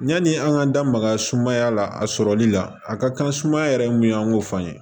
Yani an k'an da maga sumaya la a sɔrɔli la a ka kan sumaya yɛrɛ mun y'an k'o fɔ an ye